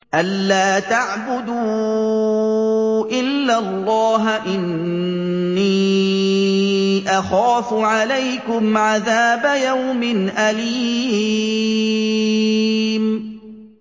أَن لَّا تَعْبُدُوا إِلَّا اللَّهَ ۖ إِنِّي أَخَافُ عَلَيْكُمْ عَذَابَ يَوْمٍ أَلِيمٍ